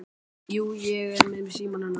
Jú, og ég er með símann hennar.